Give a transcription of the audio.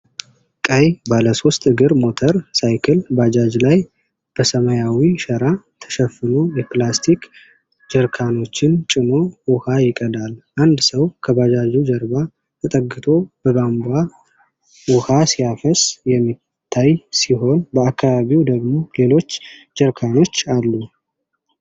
ቀይ ባለ ሶስት እግር ሞተር ሳይክል (ባጃጅ) ላይ በሰማያዊ ሸራ የተሸፈኑ የፕላስቲክ ጀሪካኖችን ጭኖ ውኃ ይቀዳል። አንድ ሰው ከባጃጁ ጀርባ ተጠግቶ በቧንቧ ውኃ ሲያፈስ የሚታይ ሲሆን፣ በአካባቢው ደግሞ ሌሎች ጀሪካኖች አሉ።